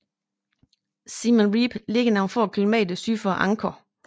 Siem Reap ligger nogle få kilometer syd for Angkor